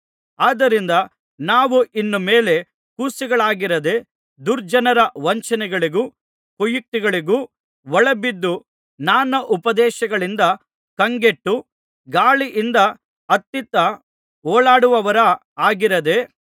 ಆದ್ದರಿಂದ ನಾವು ಇನ್ನು ಮೇಲೆ ಕೂಸುಗಳಾಗಿರದೇ ದುರ್ಜನರ ವಂಚನೆಗಳಿಗೂ ಕುಯುಕ್ತಿಗೂ ಒಳಬಿದ್ದು ನಾನಾ ಉಪದೇಶಗಳಿಂದ ಕಂಗೆಟ್ಟು ಗಾಳಿಯಿಂದ ಅತ್ತಿತ್ತ ಓಲಾಡುವವರ ಹಾಗಿರದೇ